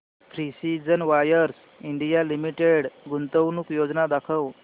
precision wires India limited गुंतवणूक योजना दाखव